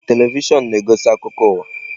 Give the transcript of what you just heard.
Television na-egosi akụkọ ụwa.